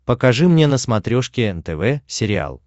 покажи мне на смотрешке нтв сериал